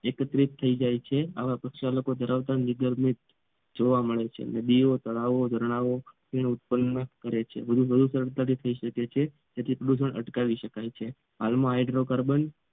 એકત્રિત થઈ જાય છે આવા પ્રક્ષાલકો ધરાવતા નિધર્મિલ જોવા મળે છે નદીઓ તળાવ અને ઝરણાં ઉત્પન્ન કરે છે જેથી પ્રદૂષણ અટકાવી શકાય છે હાલમાં હાઇડ્રોકાર્બન